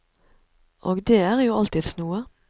Og det er jo alltids noe.